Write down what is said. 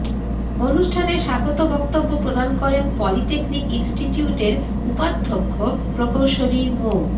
অনুষ্ঠানে স্বাগত বক্তব্য প্রদান করেন পলিটেকনিক ইন্সটিটিউটের উপাধ্যক্ষ প্রকৌশলী মো